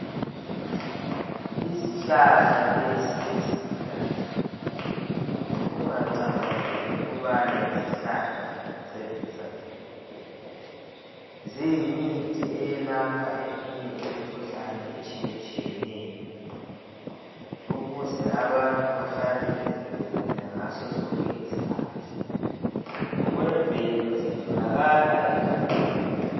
Izihlahla lezi eziluhlaza, ungacabangeli ukubana yizihlahla zokucecisaa nje kuphela. Ziyimithi eyelapha eminye imkhuhlane etshiyetshiyeneyo ukuze abantu bahlale bevikelekile ngaso sonke isikhathi. Ngokwemvelo zitholakala egangeni.